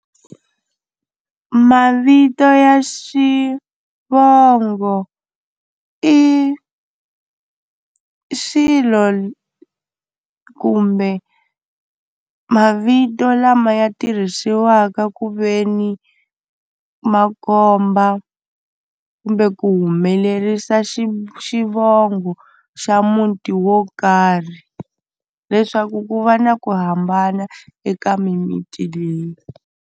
Mavito ya xivongo i xilo kumbe mavito lama ya tirhisiwaka ku ve ni ma komba kumbe ku humelerisa xi xivongo xa muti wo karhi leswaku ku va na ku hambana eka mimiti leyi.